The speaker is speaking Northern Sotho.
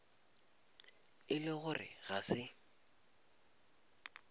e le gore ga se